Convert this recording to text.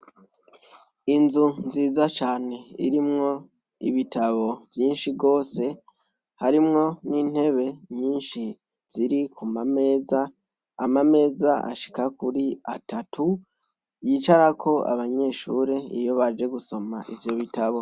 Inzu nziza cane irimwo ibitabo vyinshi rwose, harimwo n'intebe nyishi ziri ku mameza, amameza ashika kuri atatu yicarako abanyeshure iyo baje gusoma ivyo bitabo.